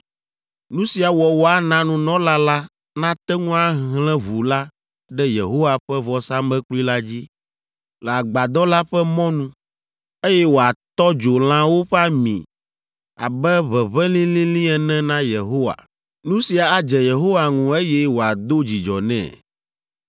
Nu sia wɔwɔ ana nunɔla la nate ŋu ahlẽ ʋu la ɖe Yehowa ƒe vɔsamlekpui la dzi, le Agbadɔ la ƒe mɔnu, eye wòatɔ dzo lãwo ƒe ami abe ʋeʋẽ lĩlĩlĩ ene na Yehowa. Nu sia adze Yehowa ŋu eye wòado dzidzɔ nɛ.